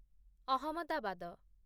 Ahmedabad